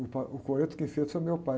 O pa, o coreto quem fez foi meu pai.